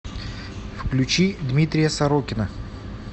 включи дмитрия сорокина